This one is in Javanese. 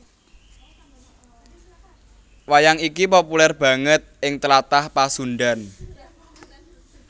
Wayang iki populèr banget ing Tlatah Pasundhan